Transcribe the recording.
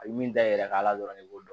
A bɛ min da yɛrɛ kan dɔrɔn ne b'o dɔn